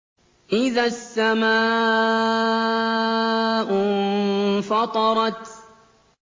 إِذَا السَّمَاءُ انفَطَرَتْ